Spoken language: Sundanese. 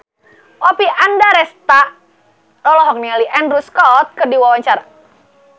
Oppie Andaresta olohok ningali Andrew Scott keur diwawancara